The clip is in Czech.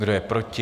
Kdo je proti?